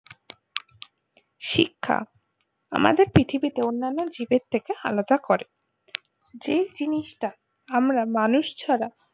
শিক্ষা আমাদের পৃথিবীতে অন্যন্য জীবের থেকে আলাদা করে যে জিনিস টা আমরা মানুষ ছাড়া